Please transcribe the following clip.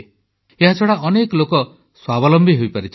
ଏହାଛଡ଼ା ଅନେକ ଲୋକ ସ୍ୱାବଲମ୍ବୀ ହୋଇପାରିଛନ୍ତି